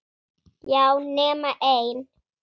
Já, nema ein!